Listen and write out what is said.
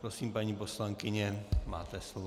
Prosím, paní poslankyně, máte slovo.